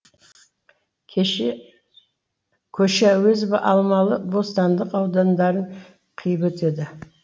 көше әуезов алмалы бостандық аудандарын қиып өтеді